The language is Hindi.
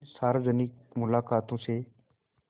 इन सार्वजनिक मुलाक़ातों से